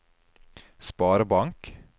sparebank